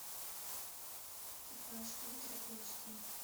экипаж ультра эйч ди